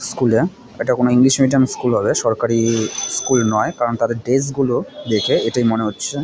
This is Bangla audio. স্কুল -এ এটা কোনো ইংলিশ মিডিয়াম স্কুল হবে সরকারি স্কুল নয় কারণ তাদের ড্রেস গুলো দেখে এটাই মনে হচ্ছে--